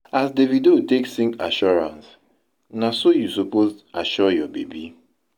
as davido take sing assurance na so yu suppose assure yur baby